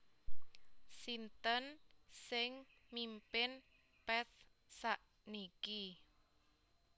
Sinten sing mimpin Path sakniki